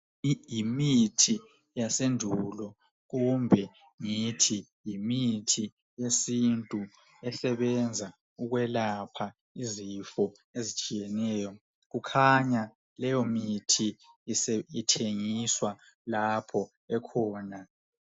Yimithi yasendulo kumbe ngithi yimithi yesintu esebenza ukwelapha izifo ezitshiyeneyo. Kukhanya leyomithi ithengiswa lapho ekhona.